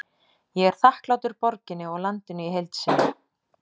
Ég er þakklátur borginni og landinu í heild sinni.